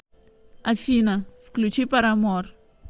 афина включи парамор